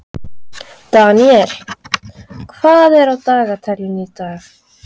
Daniel, hvað er á dagatalinu í dag?